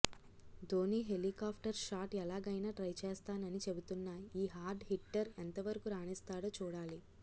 Dhoni helicopter shot ఎలాగైనా try చేస్తానని చెబుతోన్న ఈ హార్డ్ హిట్టర్ ఎంతవరకు రాణిస్తాడో చూడాలి